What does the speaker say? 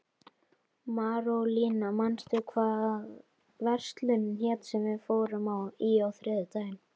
Marólína, manstu hvað verslunin hét sem við fórum í á þriðjudaginn?